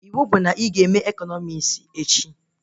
Iwu bụ na ị ga eme ekọnọmis echi!